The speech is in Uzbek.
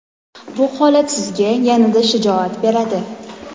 Bu holat sizga yanada shijoat beradi.